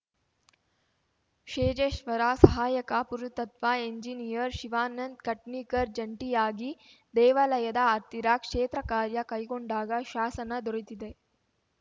ಶೇಜೇಶ್ವರ ಸಹಾಯಕ ಪುರಾತತ್ವ ಎಂಜಿನಿಯರ್‌ ಶಿವಾನಂದ್‌ ಕಟ್ನಿಕರ್‌ ಜಂಟಿಯಾಗಿ ದೇವಾಲಯದ ಹತ್ತಿರ ಕ್ಷೇತ್ರ ಕಾರ್ಯ ಕೈಗೊಂಡಾಗ ಶಾಸನ ದೊರೆತಿದೆ